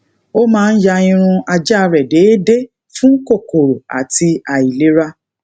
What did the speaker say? ó máa ń ya irun aja re déédéé fun kokoro ati ailera